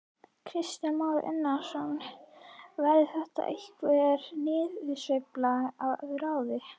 Kristján Már Unnarsson: Verður þetta einhver niðursveifla að ráði?